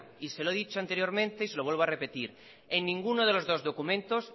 y se lo he dicho anteriormente y se lo vuelvo a repetir en ninguno de los dos documentos